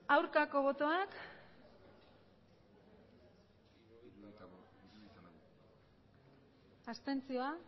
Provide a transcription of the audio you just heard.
aurkako botoak abstenzioak